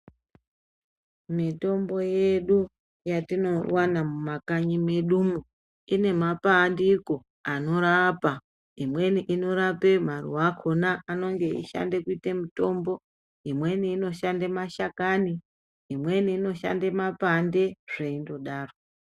Mitombo yedu yatinowana mumakanyi mwedumwo inemapandiko anorapa ,imweni inorape maruwa akona anenge ishande kuite mitombo imweni inoshande mashakani imweni inoshande mapande zveindodaro.